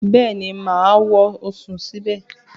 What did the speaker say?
Bẹ́ẹ̀ni, mà á wọ̀ sùn síbẹ̀